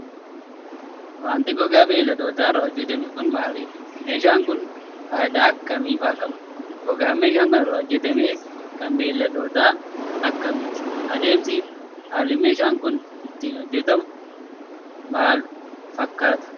Wanti gogaa beeyladootaa irraa hojjatame kun, maalidha? meeshaan kun ,faayidaa akka kamii faa qaba? Gogaan meeshaan kun irraa hojjatame, kan beeyladoota akka kamiiti? Adeemsi fi haalli meeshaan kun itti hojjatamu, maal faa fakkata?